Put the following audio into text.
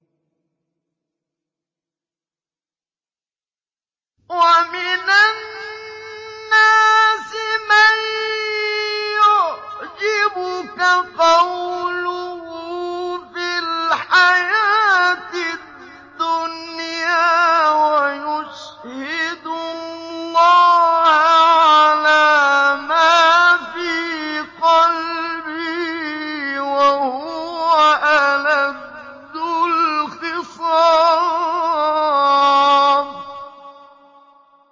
وَمِنَ النَّاسِ مَن يُعْجِبُكَ قَوْلُهُ فِي الْحَيَاةِ الدُّنْيَا وَيُشْهِدُ اللَّهَ عَلَىٰ مَا فِي قَلْبِهِ وَهُوَ أَلَدُّ الْخِصَامِ